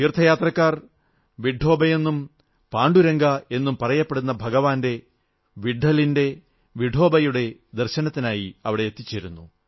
തീർഥയാത്രക്കാർ വിട്ഠോബയെന്നും പാണ്ഡുരംഗ എന്നും പറയപ്പെടുന്ന ഭഗവാൻ വിട്ഠലിന്റെ വിഠോബയുടെ ദർശനത്തിനായി അവിടെ എത്തിച്ചേരുന്നു